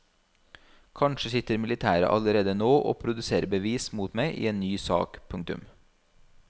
Kanskje sitter militæret allerede nå og produserer bevis mot meg i en ny sak. punktum